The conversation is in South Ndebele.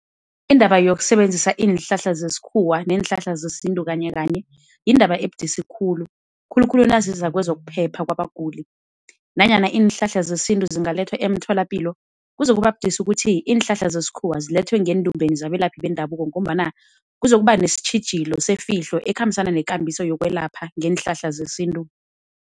Indaba yokusebenzisa iinhlahla zesikhuwa neenhlahla zesintu kanyekanye yindaba ebudisi khulu, khulukhulu naziza kwezokuphepha kwabaguli. Nanyana iinhlahla zesintu zingalethwa emtholapilo kuzokuba budisi ukuthi iinhlahla zesikhuwa zilethwe ngeendumbeni zabelaphi bendabuko, ngombana kuzokuba nesitjhijilo sefihlo ekhambisana nekambiso yokwelapha ngeenhlahla zesintu.